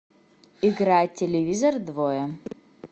играй телевизор двое